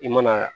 I mana